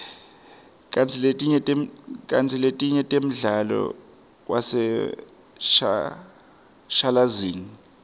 kantsi letinye temdlalo waseshashalazini